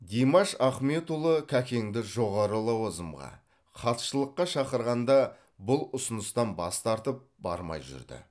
димаш ахметұлы кәкеңді жоғары лауазымға хатшылыққа шақырғанда бұл ұсыныстан бас тартып бармай жүрді